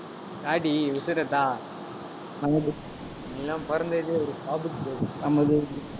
தாடி உசுரை தா நீயெல்லாம் பொறந்ததே ஒரு சாபக்கேடு